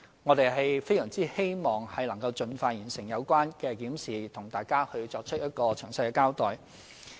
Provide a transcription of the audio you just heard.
我們非常希望能夠盡快完成有關檢視，向大家作出詳細交代。